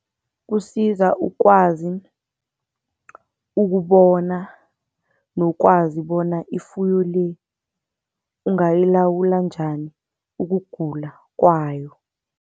Kusiza ukwazi ukubona nokwazi bona ifuyo le ungayilawula njani ukugula kwayo.